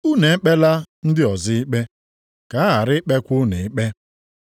“Unu ekpela ndị ọzọ ikpe, ka a ghara ikpekwa unu ikpe.